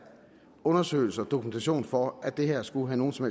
undersøgelser og dokumentation for at det her skulle have nogen som